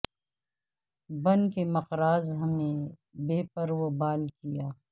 بن کے مقراظ ہمیں بے پر و بال کیا